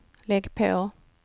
lägg på